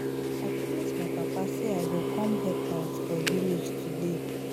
I promise my papa say I go come help out for village today